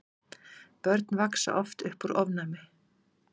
börn vaxa oft upp úr ofnæmi